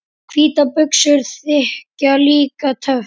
Hvítar buxur þykja líka töff.